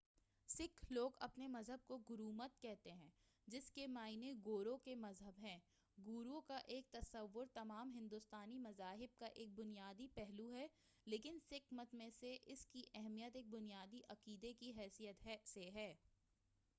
سکھ لوگ اپنے مذہب کو گرومت کہتے ہیں جس کے معنی گورو کے مذہب ہیں گورو کا تصوُّر تمام ہندوستانی مذاہب کا ایک بنیادی پہلو ہے لیکن سکھ مت میں اس کی اہمیت ایک بنیادی عقیدہ کی حیثیت سے ہے